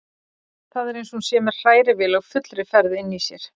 Það er eins og hún sé með hrærivél á fullri ferð inni í sér.